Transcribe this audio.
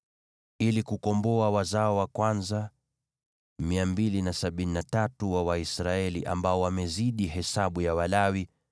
Ili kukomboa wazao wa kwanza 273 wa Waisraeli ambao wamezidi hesabu ya Walawi,